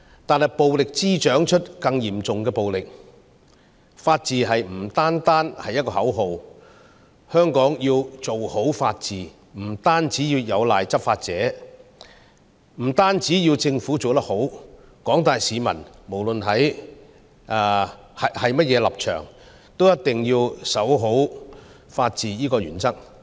但是，暴力滋長出更嚴重的暴力，法治不單是一個口號，香港要做好法治，不單有賴執法者，不單政府要做得好，廣大市民——不論甚麼立場——也一定要守好法治這項原則。